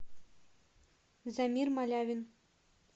замир малявин